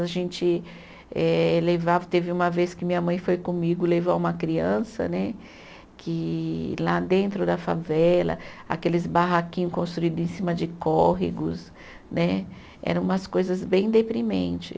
A gente eh levava, teve uma vez que minha mãe foi comigo levar uma criança né, que lá dentro da favela, aqueles barraquinho construído em cima de córregos né, era umas coisas bem deprimente.